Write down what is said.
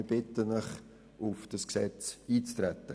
Wir bitten Sie, auf das Gesetz einzutreten.